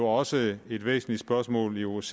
også et væsentligt spørgsmål i osce